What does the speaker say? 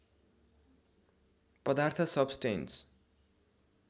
पदार्थ सब्स्टैंस